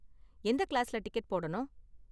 எந்த கிளாஸ்ல டிக்கெட் போடனும்?